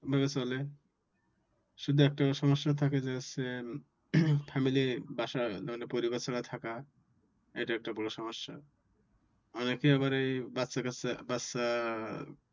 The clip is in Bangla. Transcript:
ভাবে চলে শুধু একটা সমস্যা থাকে যে হচ্ছে family বাসা পরিবার ছাড়া থাকা এটা একটা বড় সমস্যা। অনেকে আবার এই বাচ্চা কাচ্চা, বাচ্চা